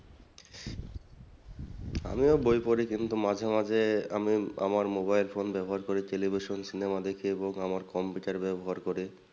আমিও বই পড়ি কিন্তু মাঝে মাঝে আমি আমার mobile phone ব্যবহার করি television cinema দেখি এবং আমার computer ব্যবহার করি।